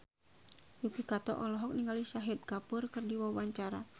Yuki Kato olohok ningali Shahid Kapoor keur diwawancara